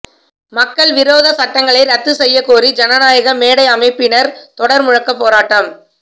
மக்கள் விரோத சட்டங்களை ரத்து செய்ய கோரி ஜனநாயகமேடை அமைப்பினர் தொடர் முழக்க போராட்டம்